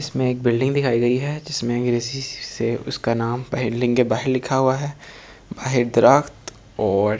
इसमें एक बिल्डिंग दिखाई गई है जिसमें उसका नाम बिल्डिंग के बाहर लिखा हुआ है बाहर दरख़्त और --